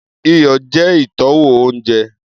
Iyọ jẹ itọwo ounjẹ.